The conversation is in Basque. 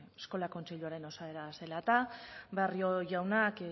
eskola kontseiluaren osaera zela eta barrio jaunak